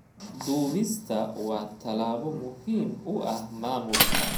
Duubista waa tallaabo muhiim u ah maamulka.